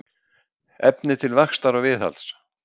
Efni til vaxtar og viðhalds.